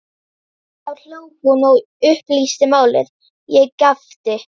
Þá hló hún og upplýsti málið, ég gapti.